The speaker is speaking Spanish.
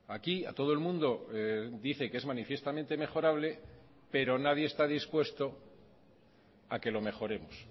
aquí a todo el mundo dice que es manifiestamente mejorable pero nadie está dispuesto a que lo mejoremos